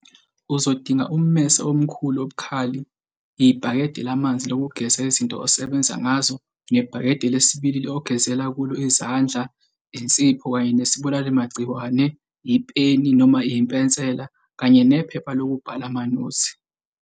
Uzodinga ummese omkhulu obukhali, ibhakede lamanzi lokugeza izinto osebenza ngazo nebhakede lesibili lamanzi ogezela kulo izandla, insipho kanye nesibulali magciwane, ipeni noma impensela kanye nephepha lokubhala amanothi.